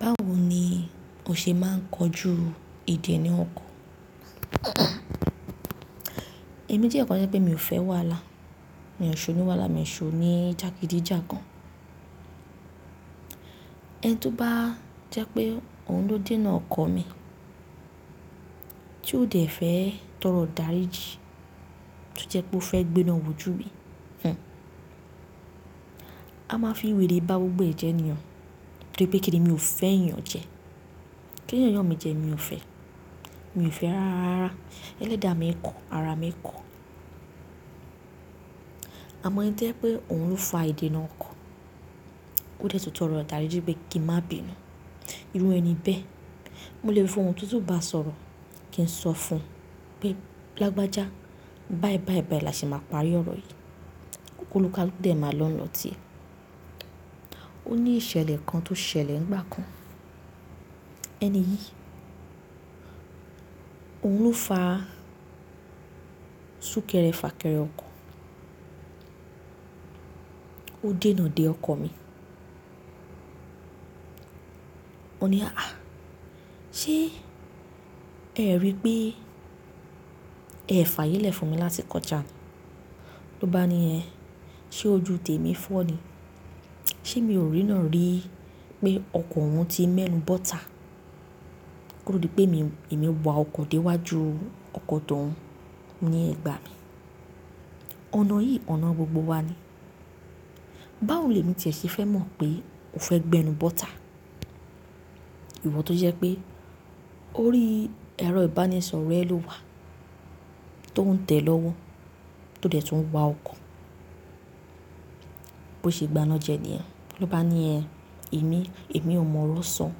Báwo ni o ṣe máa ń kojú ìdènà ọkọ? Èmi jékàn kan tó jẹ́ pé èmi ò fẹ́ wàhálà. Mi ò ṣe oní wàhálà, mi ò ṣòwò ní jágídíjàgan. Ẹni tó bá jẹ́ pé òun ló dènà ọkọ mi, tí ó dẹ̀ fẹ́ tọrọ dàríji, to jẹ́ pé ó fẹ́ gbé iná wò jú bí, hhn. A máa fi wèrè bá gbogbo ẹ̀ jẹ̀ ní o, torí pé kíni mi ò fẹ́ ìyàn jẹ. Kí èèyàn yàn mi jẹ mi ò fẹ́? Mi ò fẹ́ rárá, ẹlẹ́dà mi ń kọ, ara mi ń kọ. Àmọ́ eni tí o jẹ́ pé òun ló fa ìdènà ọkọ, ó dẹ̀ tọrọ dàríji pé kí n má bi inú. Irú ẹni bẹ́ẹ̀, mo lè fi ohùn tuntun bá a sọ̀rọ̀, kí n sọ fún un pé lágbájá báì báì báì làṣẹ máa parí ọ̀rọ̀ yìí. Kólúkálúkù dẹ̀ máa lọ́ n lọ ti ẹ. Ó ní ìṣẹ̀lẹ̀ kan tó ṣẹlẹ̀ nígbà kan. Ẹni yìí, òun ló fa súkẹ́rẹ́ fà kẹ́rẹ ọkọ, ó dènà de ọkọ mi. Mo ní, "àh! Ṣé ẹ rí i pé ẹ fàyèlé fún mi láti kọjá ni? Ló bá ni ẹ, ṣé ojú tèmi fọ́ ni? Ṣé mi ò rí ráàn rí i pé ọkọ òun ti mẹ́nu bọ́ta kótòdí pé èmi, èmi ń wa ọkọ̀ dé wájú ọkọ̀ tó ń, ní ẹ̀gbà mi. Ọ̀nà yìí, ọ̀nà gbogbo wa ni. Báwo ni èmi tiẹ̀ ṣe fẹ́ mọ̀ pé o fẹ́ gbẹ́nu bọ́ta? Ìwọ tó jẹ́ pé ó rí ẹrọ ìbánisọ̀rọ̀ ẹ ló wà tó ń tẹ̀ lọ́wọ́, tó dẹ̀ tún ń wa ọkọ̀. Bí o ṣe gbá iná jẹ ní ẹ. Ló bá ni ẹ, èmi, èmi ò mọ ọ̀rọ̀ san,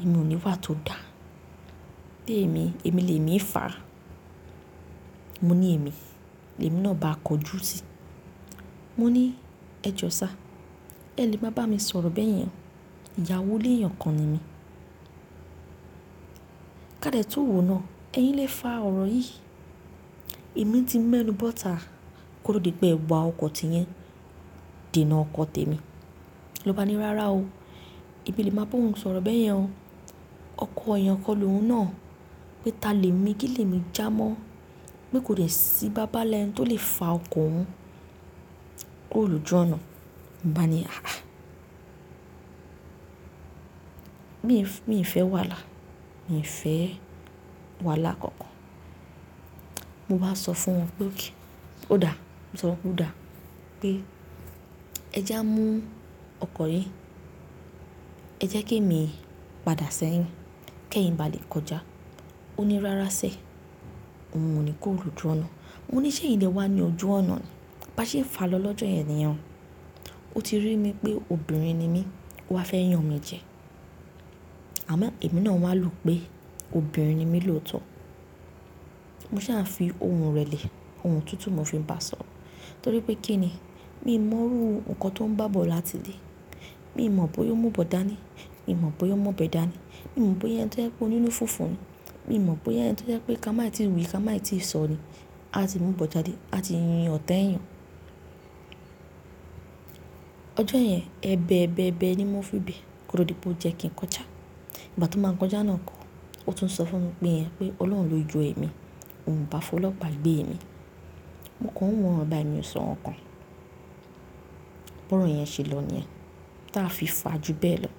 èmi ò ní wà tó dà. Témi, èmi lè mí fàá. Mo ní èmi, èmi náà bá a kọjú sí i. Mo ní, "ẹ jọ̀ọ́ sá, ẹ lè má bá mi sọ̀rọ̀ bẹ́yẹn. Ìyàwó ilé ìyàn kan ni mí. Kádẹ̀ tó òwò náà, ẹ̀yin lè fa ọ̀rọ̀ yìí. Èmi ti mẹ́nu bọ́ta kótòdí pé ẹ wa ọkọ̀ ti yín dènà ọkọ tèmi. Ló bá ni, "rárá o, èmi o lè máa bá òun sọ̀rọ̀ bẹ́yẹn o. Ọkọ̀ èèyàn kan lóhùn náà, pé ta lè mi gílẹ̀ mi já mọ́. Pe kò dẹ sí i babá nla ẹni tó lè fa ọkọ̀ òun. Kuóò lójú ọ̀nà." Mo bá ni, "àhàh! Mi ì fẹ́ wàhálà. Mi ò fẹ́ wàhálà kankan. Mo bá sọ fún ọ pé okay o dáa, mo sọ fún ọ pé ó dáa pé ẹ je á mú ọkọ̀ yí, ẹ jẹ́ kí èmi padà sẹ́yìn kí ẹyin bá lè kọjá." Ó ní, "rárá sẹ́, ohun o ní kuóò lójú ọ̀nà." Mo ní ṣé ẹ̀yin lewa ni ojú ọ̀nà ni? Bá ṣe ń fa lọ lọ́jọ́ yẹn ni yẹn o, ó ti rí mi pé obìnrin ni mí, ó wa fẹ́ yan mi jẹ. Àmọ́ èmi náà máa lu pé obìnrin ni mí lóòótọ́. Mo sá fi ohùn rẹ̀ lẹ̀, ohùn tuntun mo fi ń bá a sọ̀rọ̀. Torí pé kíni, mi ò mọ̀rú nǹkan tó ń bá bọ̀ láti ilé. Mi ò mọ̀ bóyá ó mú bọ̀n dánì, mi ò mọ̀ bóyá ó mu ọ̀bẹ́ dánì, mi ò mọ̀ bóyá ẹni tó jẹ́ pé ó ní inú fúnfún ni, mi ò mọ̀ bóyá ẹni tó jẹ́ pé ká máì tí wí, ká máì tí sọ ni, a ti mú bọ̀n jadé, a ti yíyan ọ̀tẹ́yàn. Ọjọ́ yẹn, ẹbẹ̀ ẹbẹ̀ ẹbẹ̀ ni mo fi gbé kódòdí pé ó jẹ́ kí n kọjá. Ìgbà tó máa ń kọjá iná ọkọ̀, ó tún ń sọ fún mi pé ẹ, pé Ọlọ́run ló jó ẹ́ mi, òun bá fọlọ́pa gbé èmi. Mo kàn ún wọ̀n, bá mi ò sọ̀rọ̀ kàn. Bórò yẹn ṣe lọ ní yẹ̀n, táa fi fàá ju bẹ́ẹ̀ lọ.